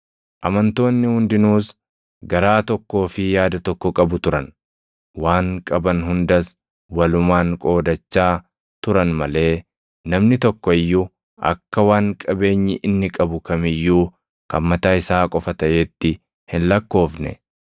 Amantoonni hundinuus garaa tokkoo fi yaada tokko qabu turan; waan qaban hundas walumaan qoodachaa turan malee namni tokko iyyuu akka waan qabeenyi inni qabu kam iyyuu kan mataa isaa qofa taʼeetti hin lakkoofne.